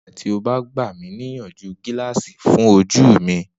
Nigbati o ba gba mi niyanju gilaasi fun oju mi?